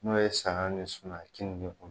N'o ye saga ni suma ye kenige kɔnɔ